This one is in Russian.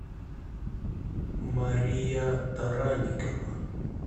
мария таранникова